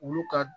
Olu ka